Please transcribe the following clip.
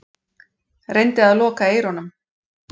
Reyndi að loka eyrunum.